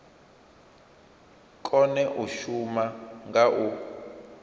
kone u shuma nga u